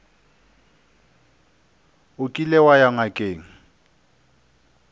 o kile wa ya ngakeng